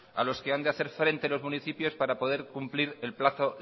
a los que han de hacer frente los municipios para poder cumplir el plazo